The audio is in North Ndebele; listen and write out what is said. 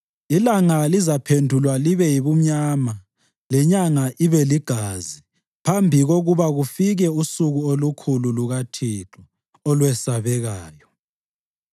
Ilanga lizaphendulwa libe yibumnyama lenyanga ibeligazi phambi kokuba kufike usuku olukhulu lukaThixo, olwesabekayo.